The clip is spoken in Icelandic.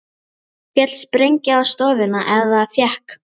Féll sprengja á stofuna eða fékk